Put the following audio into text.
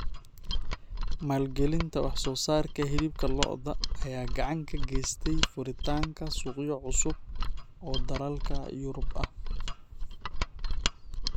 Maalgelinta wax soo saarka hilibka lo'da ayaa gacan ka geystay furitaanka suuqyo cusub oo dalalka Yurub ah.